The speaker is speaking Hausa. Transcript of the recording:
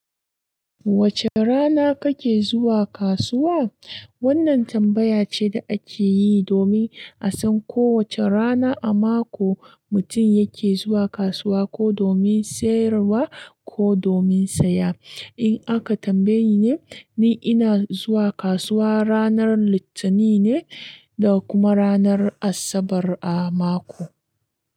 Wace rana kake zuwa kasuwa? Wannan tambaya ce da ake yi domin asan ko wace rana a mako mutum yake zuwa kasuwa ko domin sayarwa ko domin saya. In aka tambayeni ne, ni ina zuwa kasuwa ranar Litanin ne da kuma ranar Asabar a mako.